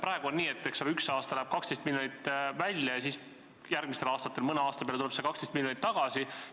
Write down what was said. Praegu on nii, et üks aasta läheb 12 miljonit välja ja mõnel järgmisel aastal kokku tuleb see 12 miljonit tagasi.